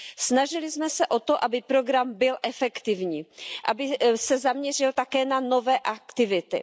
Snažili jsme se o to, aby program byl efektivní, aby se zaměřil také na nové aktivity.